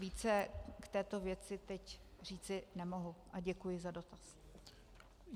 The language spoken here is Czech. Více k této věci teď říci nemohu a děkuji za dotaz.